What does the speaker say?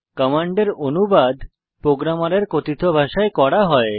কমান্ডের অনুবাদ প্রোগ্রামারের কথিত ভাষায় করা হয়